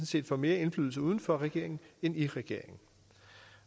set får mere indflydelse uden for regeringen end i regeringen